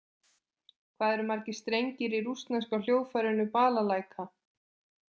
Hvað eru margir strengir í rússneska hljóðfærinu Balalæka?